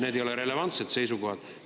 Need ei ole relevantsed seisukohad.